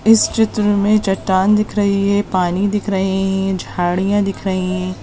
इस चित्र में चट्टान दिख रही है पानी दिख रहे है झाड़ियाँ दिख रही है।